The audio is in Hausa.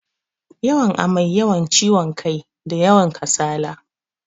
Yawan amai, yawan kiwon kai, da yawan kasala.